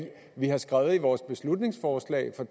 det vi har skrevet i vores beslutningsforslag for